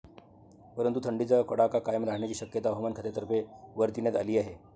परंतु, थंडीचा कडाका कायम राहण्याची शक्यता हवामान खात्यातर्फे वर्तविण्यात आली आहे.